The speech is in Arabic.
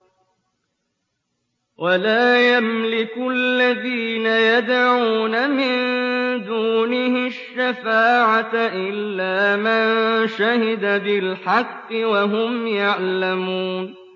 وَلَا يَمْلِكُ الَّذِينَ يَدْعُونَ مِن دُونِهِ الشَّفَاعَةَ إِلَّا مَن شَهِدَ بِالْحَقِّ وَهُمْ يَعْلَمُونَ